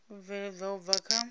u bveledzwa u bva kha